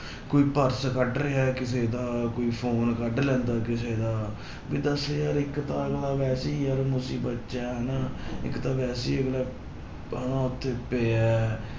ਕੋਈ ਪਰਸ ਕੱਢ ਰਿਹਾ ਹੈ ਕਿਸੇ ਦਾ, ਕੋਈ ਫ਼ੋਨ ਕੱਢ ਲੈਂਦਾ ਕਿਸੇ ਦਾ, ਵੀ ਦੱਸ ਯਾਰ ਇੱਕ ਤਾਂ ਅਗਲਾ ਵੈਸੇ ਹੀ ਯਾਰ ਮੁਸੀਬਤ ਚ ਹੈ ਹਨਾ ਇੱਕ ਤਾਂ ਵੈਸੇ ਹੀ ਅਗਲਾ ਹਨਾ ਉੱਥੇ ਪਿਆ ਹੈ